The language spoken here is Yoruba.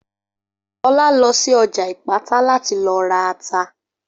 Olá lọ sí ọjà Ìpátá láti lọ ra ata